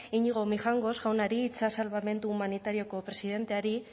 iñigo mijangos jaunari itsas salbamendu humanitarioko presidenteari